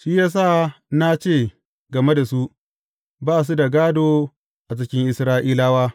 Shi ya sa na ce game da su, Ba su da gādo a cikin Isra’ilawa.’